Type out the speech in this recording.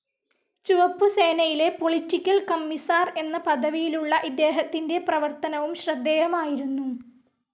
ചുവപ്പു സേനയിലെ political commissar എന്ന പദവിയിലുള്ള ഇദ്ദേഹത്തിന്റെ പ്രവർത്തനവും ശ്രദ്ധേയമായിരുന്നു.